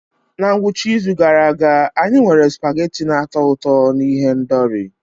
Na ngwụcha izu gara aga, anyị nwere spaghetti na-atọ ụtọ na ihendori.